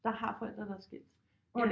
Der har forældre der er skilt